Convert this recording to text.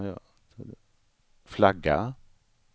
flagga